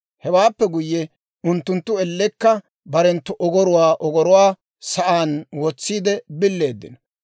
Hewaappe guyye, unttunttu ellekka barenttu ogoruwaa ogoruwaa sa'aan wotsiide billeeddino.